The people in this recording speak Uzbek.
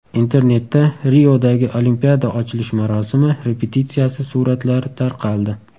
Internetda Riodagi Olimpiada ochilish marosimi repetitsiyasi suratlari tarqaldi .